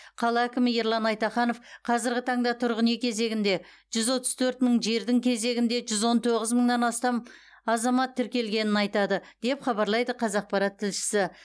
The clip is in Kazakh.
қала әкімі ерлан айтаханов қазырғы таңда тұрғын үй кезегінде жүз отыз төрт мың жердің кезегінде жүз он тоғыз мыңнан астам азамат тіркелгенін айтады деп хабарлайды қазақпарат тілшісі